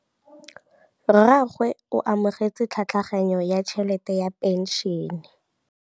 Rragwe o amogetse tlhatlhaganyô ya tšhelête ya phenšene.